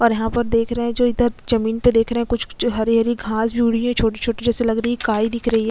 यहाँ पर देख रहे है जो इधर जमीन पे कुछ कुछ हरी-हरी घास उगी हुई है छोटी छोटी जैसी लग रही है काई दिख रही है।